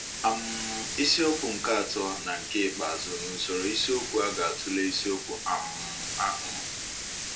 um Isiokwu nke atọ na nke ikpeazụ n'usoro isiokwu a ga-atụle isiokwu um ahụ.